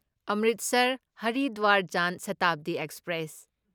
Amritsar Haridwar Jan Shatabdi express